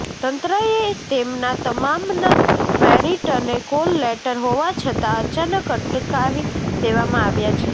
તંત્રએ તેમના તમામના મેરીટ અને કોલ લેટર હોવા છતાં અચાનક અટકાવી દેવામાં આવ્યા છે